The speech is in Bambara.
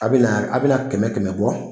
A bɛna a bɛna kɛmɛ kɛmɛ bɔ.